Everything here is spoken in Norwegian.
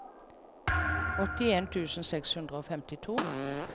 åttien tusen seks hundre og femtito